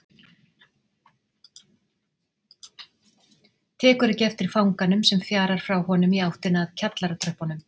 Tekur ekki eftir fanganum sem fjarar frá honum í áttina að kjallaratröppunum.